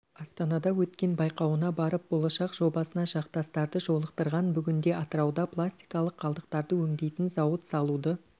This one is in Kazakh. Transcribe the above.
астанада өткен байқауына барып болашақ жобасына жақтастарды жолықтырған бүгінде атырауда пластикалық қалдықтарды өңдейтін зауыт салуды